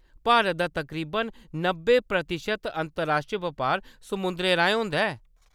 भारत दा तकरीबन नब्बे प्रतिशत अंतरराश्ट्री बपार समुंदरै राहें होंदा ऐ।